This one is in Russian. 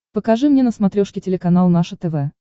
покажи мне на смотрешке телеканал наше тв